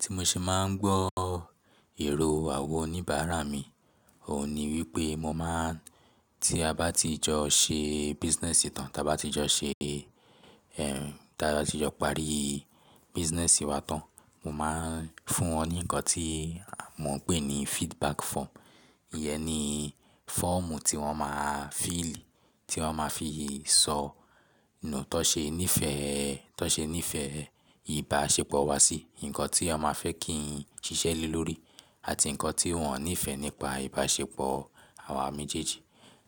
Tí mo ṣe máa ń gbọ́ èrò àwọn oníbàárà mi, òun ni wípé mo máa ń tí a bá ti jọ ṣe business tán, tí a bá ti jọ ṣe, ẹm, tí a bá ti jọ parí business wa tán, mo máa ń fún wọn ní nǹkan tí mò ń pè ní feedback form. Iyẹn ni fọ́ọ̀mù tí wọ́n máa fíìlì, tí wọ́n máa fi sọ tán ṣe nífẹ̀ẹ́, tán ṣe nífẹ̀ẹ́ ìbáṣepọ̀ wa sí, ǹkan tí wọ́n máa fẹ́ kí n ṣiṣẹ́ lé lórí àti ǹkan tí wọ́n ò nífẹ̀ẹ́ nípa ìbáṣepọ̀ àwa méjèèjì.